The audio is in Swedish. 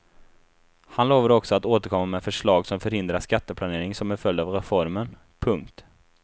Han lovade också att återkomma med förslag som förhindrar skatteplanering som en följd av reformen. punkt